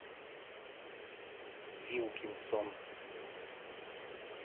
вилкинсон